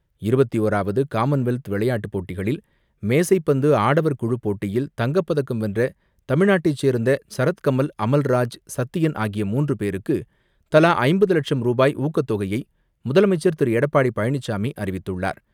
இருபத்து ஓராவது காமன்வெல்த் விளையாட்டுப்போட்டிகளில் மேசைப்பந்து ஆடவர் குழுப்போட்டியில் தங்கப்பதக்கம் வென்ற தமிழ்நாட்டை சேர்ந்த சரத் கமல், அமல் ராஜ், சத்தியன் ஆகிய மூன்று பேருக்கு, தலா ஐம்பது லட்சம் ரூபாய் ஊக்கத்தொகையை முதலமைச்சர் திரு எடப்பாடி பழனிசாமி அறிவித்துள்ளார்.